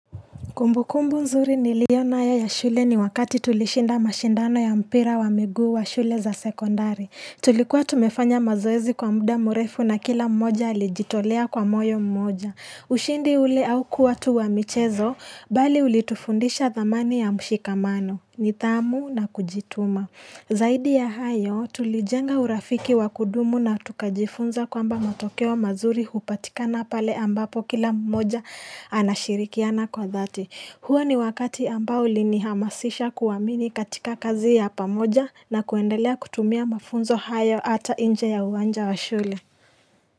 Kumbukumbu nzuri niliyonayo ya shule ni wakati tulishinda mashindano ya mpira wa miguu wa shule za sekondari. Tulikuwa tumefanya mazoezi kwa muda mrefu na kila mmoja alijitolea kwa moyo mmoja. Ushindi ule haukuwa tu wa michezo, bali ulitufundisha dhamani ya mshikamano, nidhamu na kujituma. Zaidi ya hayo tulijenga urafiki wa kudumu na tukajifunza kwamba matokeo mazuri hupatikana pale ambapo kila mmoja anashirikiana kwa dhati. Huo ni wakati ambao ulinihamasisha kuamini katika kazi ya pamoja na kuendelea kutumia mafunzo hayo ata nje ya uwanja wa shule.